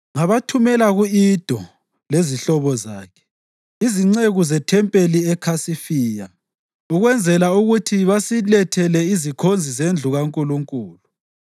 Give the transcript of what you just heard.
ngabathumela ku-Ido, lezihlobo zakhe, izinceku zethempelini eKhasifiya, ukwenzela ukuthi basilethele izikhonzi zendlu kaNkulunkulu.